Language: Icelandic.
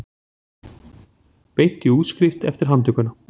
Beint í útskrift eftir handtökuna